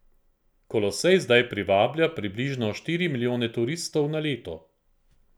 Kolosej zdaj privablja približno štiri milijone turistov na leto.